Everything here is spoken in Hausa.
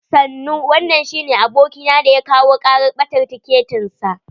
Sannu, wanan shine abokina da ya kawo karar ɓatar tiketin sa.